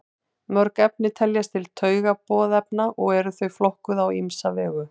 Mörg efni teljast til taugaboðefna og eru þau flokkuð á ýmsa vegu.